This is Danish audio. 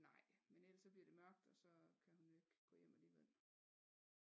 Nej men ellers så bliver det mørkt og så kan hun jo ikke gå hjem alligevel